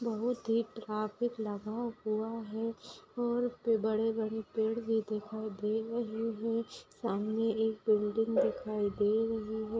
बहुत ही ट्रैफिक लगा हुआ है और पर बड़े-बड़े पेड़ भी दिखाई दे रही है सामने एक बिल्डिंग दिखाई दे रही है।